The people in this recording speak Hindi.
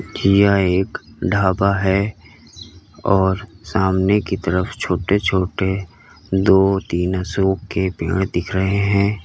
यह एक ढाबा है और सामने की तरफ छोटे छोटे दो तीन अशोक के पेड़ दिख रहे हैं।